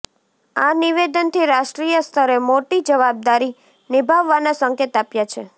આ નિવેદનથી રાષ્ટ્રીય સ્તરે મોટી જવાબદારી નિભાવવાના સંકેત આપ્યા છે